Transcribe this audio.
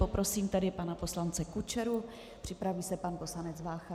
Poprosím tedy pana poslance Kučeru, připraví se pan poslanec Vácha.